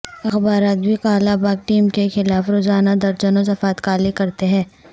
اخبارات بھی کالا باغ ڈیم کے خلاف روزانہ درجنوں صفحات کالے کرتے ہیں